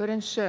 бірінші